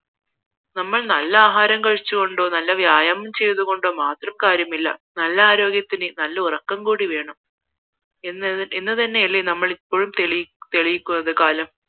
നമ്മൾ നല്ല ആഹാരം കഴിച്ചുകൊണ്ടോ നല്ല വ്യായാമം ചെയ്തു കൊണ്ടോ മാത്രം കാര്യമില്ല നല്ല ആരോഗ്യത്തിന് നല്ല ഉറക്കം കൂടി വേണം എന്ന് തന്നെയല്ലേ ഞങ്ങൾ ഇപ്പോള്ഴും തെളിയിക്കുന്നത് കാലം